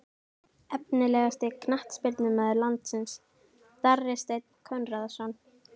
Efnilegasti knattspyrnumaður landsins: Darri steinn konráðsson